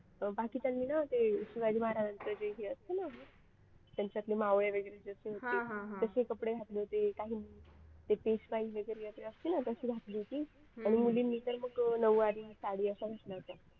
बाकीच्यांनी ना ते शिवाजी महाराजांचं जे हे असतं ना त्यांच्यातले मावळे वगैरे असतात ते तसे कपडे घातले होते काहींनी ते पेशवाई वगैरे जशी असते ना असे घातले होते आणि मुलींनी तर मग नऊवारी साडी असं घातलं होतं.